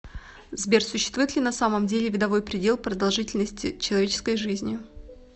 сбер существует ли на самом деле видовой предел продолжительности человеческой жизни